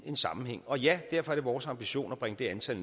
en sammenhæng og ja derfor er det vores ambition at bringe det antal